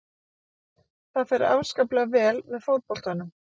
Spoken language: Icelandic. Þetta fer afskaplega vel með fótboltanum.